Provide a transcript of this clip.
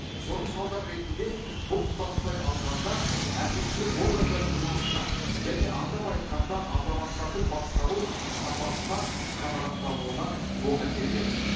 соның салдары ретінде бұл тұтастай алғанда әкімшілік органдардың жұмысына және атап айтқанда азаматтардың басқару сапасына қанағаттануына оң әсер етеді